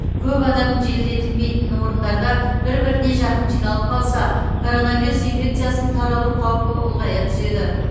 көп адам желдетілмейтін орындарда бір біріне жақын жиналып қалса коронавирус инфекциясының таралу қаупі ұлғая түседі